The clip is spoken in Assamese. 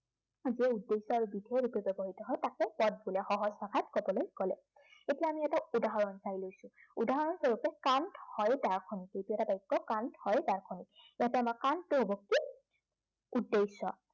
যিটোৱে উদ্দেশ্য় আৰু বিধেয় হিচাপে ব্য়ৱহৃত হয় তাকে পদ বোলে সহজ ভাষাত কবলৈ গলে। এতিয়া আমি এটা উদাহৰণ চাই লৈছো। উদাহৰণস্বৰূপে হয় দাৰ্শনিক। ইয়াতে আমাৰ হব কি উদ্দেশ্য়